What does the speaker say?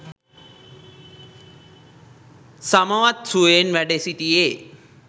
සමවත් සුවයෙන් වැඩ සිටියේ